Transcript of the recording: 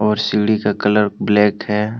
और सीढ़ी का कलर ब्लैक है।